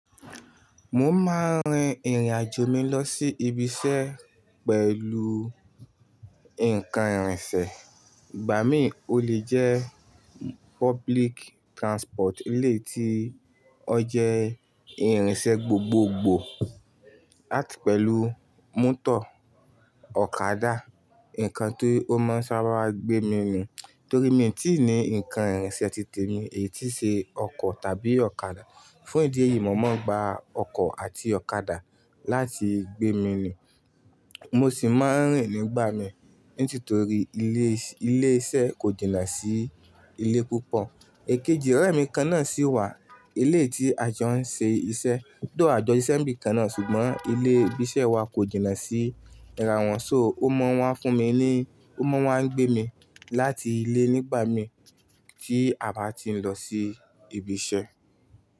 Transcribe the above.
Mo máa ń rin ìrìn àjò mi lọ sí ibi iṣẹ́ pẹ̀lú nǹkan ìrìnsẹ̀, ìgbà mí ó lè jẹ́ public transport, e lé tí ó jẹ́ ìrìnsẹ̀ gbogbogbò àti pẹ̀lú mọ́tò ọ̀kadà, ǹkan ti omáa ń sábà gbé mi nù. Torí mi tí ì ní nǹkan ìrìnsẹ̀ titèmi èyí tí ṣe ọkọ̀ tàbí ọ̀kadà. Fún ìdí èyí, mo máa ń gba ọkọ̀ àti ọ̀kadà láti gbé mi nù. Mo sì máa ń rìn nígbà mi nítitorí ilé iṣẹ́ kò jìnà sí ilé púpọ̀. Èkejì ọ̀rẹ́ mi kan náà sì wà, e le tí a jọ ń ṣe iṣẹ́ do àjọ sisẹ́ ńbí kan náà, ṣùgbọ́n ilé ibi iṣẹ́ wa kò jìnà sí ra wọn, so ó máa wá fún mi ni, ó máa wá ń gbé mi láti ilé nígbà mi tí a bá ti ń lọ sí ibi iṣẹ́